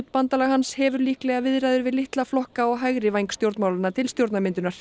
bandalag hans hefur líklega viðræður við litla flokka á hægri væng stjórnmálanna til stjórnarmyndunar